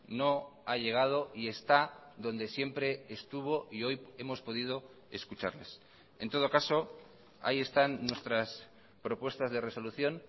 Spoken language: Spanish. no ha llegado y está donde siempre estuvo y hoy hemos podido escucharles en todo caso ahí están nuestras propuestas de resolución